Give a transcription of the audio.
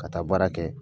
Ka taa baara kɛ